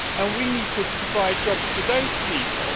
We need to provide jobs for those people.